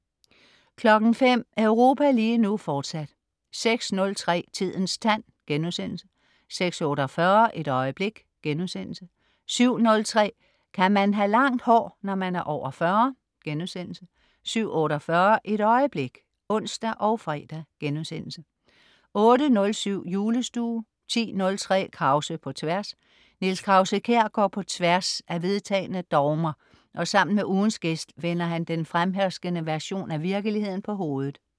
05.00 Europa lige nu, fortsat 06.03 Tidens tand* 06.48 Et øjeblik* 07.03 Kan man have langt hår, når man er over 40?* 07.48 Et øjeblik (ons og fre)* 08.07 Julestue 10.03 Krause på tværs. Niels Krause-Kjær går på tværs af vedtagne dogmer og sammen med ugens gæst vender han den fremherskende version af virkeligheden på hovedet